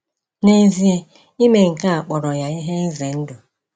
N'ezie, ime nke a kpọrọ ya ihe ize ndụ.